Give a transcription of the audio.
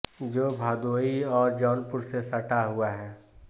जो भदोही और जौनपुर से सटा हुआ है